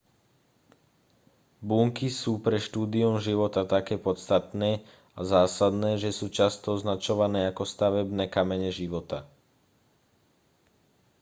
bunky sú pre štúdium života také podstatné a zásadné že sú často označované za stavebné kamene života